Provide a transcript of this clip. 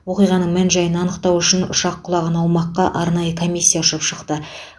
оқиғаның мән жайын анықтау үшін ұшақ құлаған аумаққа арнайы комиссия ұшып шықты